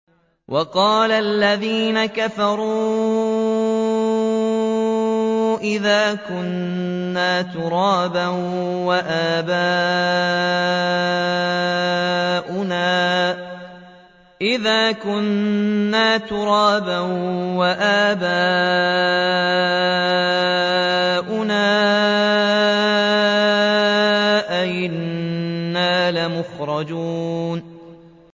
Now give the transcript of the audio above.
وَقَالَ الَّذِينَ كَفَرُوا أَإِذَا كُنَّا تُرَابًا وَآبَاؤُنَا أَئِنَّا لَمُخْرَجُونَ